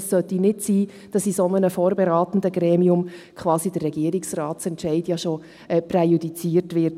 Es sollte nicht sein, dass in einem solchen vorberatenden Gremium der Regierungsratsentscheid quasi schon präjudiziert wird.